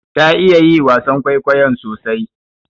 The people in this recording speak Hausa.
Ta iya yi wasan kwaikwayon sosai.